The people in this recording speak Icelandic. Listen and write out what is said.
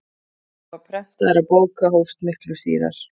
Útgáfa prentaðra bóka hófst miklu síðar.